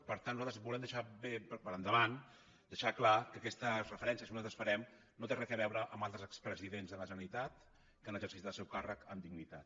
per tant nosaltres volem deixar bé per endavant deixar clar que aquestes referències que nosaltres farem no tenen re a veure amb altres expresidents de la generalitat que han exercit el seu càrrec amb dignitat